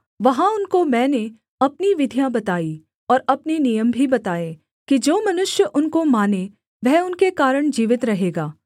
वहाँ उनको मैंने अपनी विधियाँ बताई और अपने नियम भी बताए कि जो मनुष्य उनको माने वह उनके कारण जीवित रहेगा